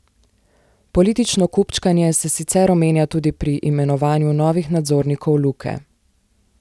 Politično kupčkanje se sicer omenja tudi pri imenovanju novih nadzornikov Luke.